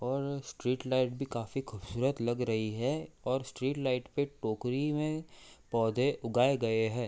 और street light भी काफी खूबसूरत लग रही है और स्ट्रीट लाइट पे टोकरी में पौधे उगाए गए हैं।